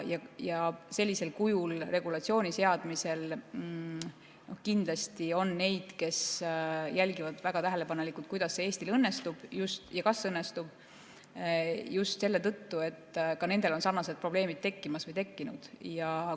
Sellisel kujul regulatsiooni seadmise puhul on kindlasti neid, kes jälgivad väga tähelepanelikult, kuidas see Eestil õnnestub ja kas õnnestub – just selle tõttu, et ka nendel on sarnased probleemid tekkimas või tekkinud.